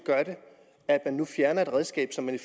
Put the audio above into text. at man nu fjerner et redskab som man i